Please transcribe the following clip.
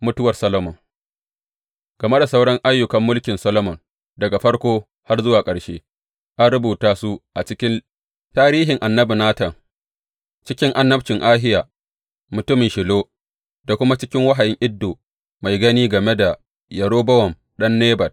Mutuwar Solomon Game da sauran ayyukan mulkin Solomon, daga farko har zuwa ƙarshe, an rubuta su a cikin tarihin annabi Natan, cikin annabcin Ahiya mutumin Shilo da kuma cikin wahayin Iddo mai gani game da Yerobowam ɗan Nebat.